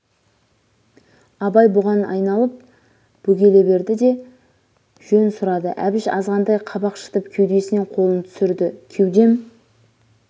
абай бұған айналып бөгеле берді де жон сұрады әбіш азғантай қабақ шытып кеудесінен қолын түсірді кеудем